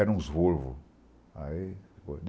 Era uns Volvo aí Volvo